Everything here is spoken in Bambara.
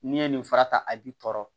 N'i ye nin fura ta a b'i tɔɔrɔ